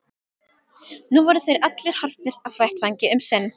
Nú voru þeir allir horfnir af vettvangi um sinn.